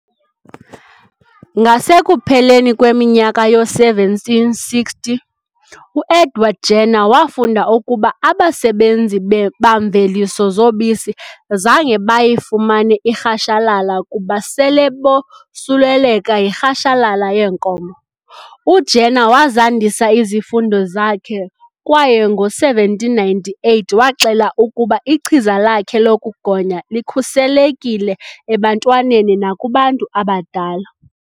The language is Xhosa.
Ngasekupheleni kweminyaka yoo-1760 uEdward Jenner wafunda ukuba abasebenzi bamveliso zobisi zange bayifumane irhashalala kuba sele bosuleleka yirhashalala yeenkomo . UJenner wazandisa izifundo zakhe kwaye ngo-1798 waxela ukuba ichiza lakhe lokugonya likhuselekile ebantwaneni nakubantu abadala.